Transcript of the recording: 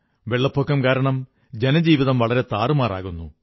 വെള്ളപ്പൊക്കം കാരണം ജനജീവിതം വളരെ താറുമാറാകുന്നു